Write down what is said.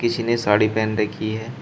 किसी ने साड़ी पहन रखी है।